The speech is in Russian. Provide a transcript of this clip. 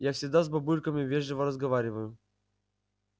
я всегда с бабульками вежливо разговариваю